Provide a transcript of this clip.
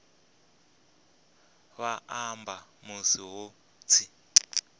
vha amba musi hu tshi